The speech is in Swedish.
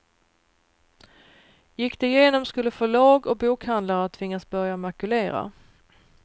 Gick det igenom skulle förlag och bokhandlare tvingas börja makulera.